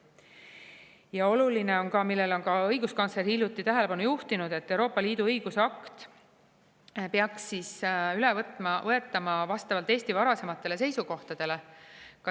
Ja oluline on ka, millele on ka õiguskantsler hiljuti tähelepanu juhtinud, et Euroopa Liidu õigusakt peaks üle võetama vastavalt Eesti varasematele seisukohtadele.